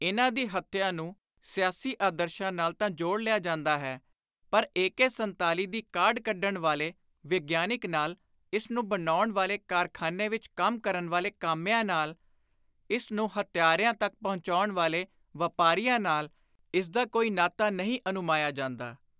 ਇਨ੍ਹਾਂ ਦੀ ਹੱਤਿਆ ਨੂੰ ਸਿਆਸੀ ਆਦਰਸ਼ਾਂ ਨਾਲ ਤਾਂ ਜੋੜ ਲਿਆ ਜਾਂਦਾ ਹੈ ਪਰ ਏ.ਕੇ. 47 ਦੀ ਕਾਢ ਕੱਢਣ ਵਾਲੇ ਵਿਗਿਆਨਕ ਨਾਲ, ਇਸ ਨੂੰ ਬਣਾਉਣ ਵਾਲੇ ਕਾਰਖ਼ਾਨੇ ਵਿਚ ਕੰਮ ਕਰਨ ਵਾਲੇ ਕਾਮਿਆਂ ਨਾਲ, ਇਸ ਨੂੰ ਹੱਤਿਆਰਿਆਂ ਤਕ ਪਹੁੰਚਾਉਣ ਵਾਲੇ ਵਾਪਾਰੀਆਂ ਨਾਲ ਇਸਦਾ ਕੋਈ ਨਾਤਾ ਨਹੀਂ ਅਨੁਮਾਨਿਆ ਜਾਂਦਾ।